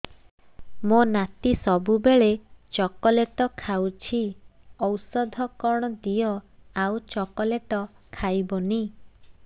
ମୋ ନାତି ସବୁବେଳେ ଚକଲେଟ ଖାଉଛି ଔଷଧ କଣ ଦିଅ ଆଉ ଚକଲେଟ ଖାଇବନି